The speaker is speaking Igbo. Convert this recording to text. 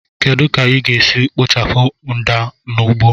Kedu ka ị ga-esi kpochapụ mda n'ugbo